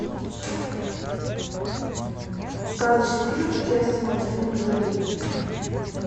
сказочный фильм с участием анджелины джоли